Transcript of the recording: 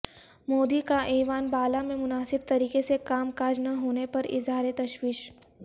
مودی کا ایوان بالا میں مناسب طریقے سے کام کاج نہ ہونے پر اظہار تشویش